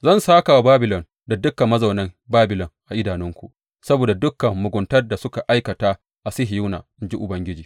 Zan sāka wa Babilon da dukan mazaunan Babilon a idanunku saboda dukan muguntar da suka aikata a Sihiyona, in ji Ubangiji.